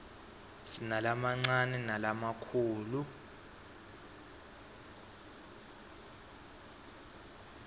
sinalamancane nalamakhulu